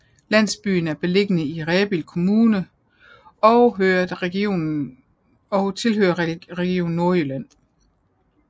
Landsbyen er beliggende i Rebild Kommune og tilhører Region Nordjylland